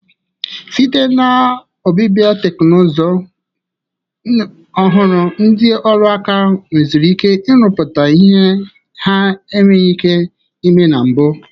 Site na ọbịbịa teknuzu ọhụrụ, ndi ọrụ aka nweziri ike irụpụta ihe ha enweghị ike ime na mbụ.